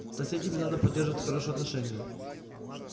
с соседями надо поддерживать хорошие отношения